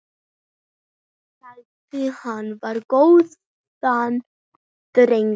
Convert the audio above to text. Sagðir hann vera góðan dreng.